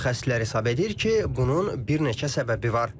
Mütəxəssislər hesab edir ki, bunun bir neçə səbəbi var.